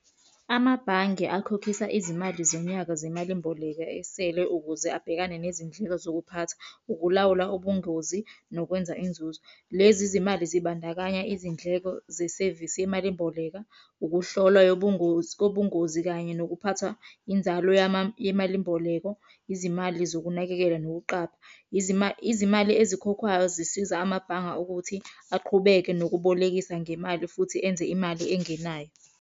Amabhange akhokhisa izimali zonyaka zemali mboleka esele ukuze abhekane nezindleko zokuphatha, ukulawula ubungozi, nokwenza inzuzo. Lezi zimali zibandakanya izindleko zesevisi yemali mboleko, ukuhlolwa kobungozi, kanye nokuphatha inzalo yemali mboleko. Izimali zokunakekela nokuqapha, izimali ezikhokhwayo zisiza amabhanga ukuthi aqhubeke nokubolekisa ngemali futhi enze imali engenayo.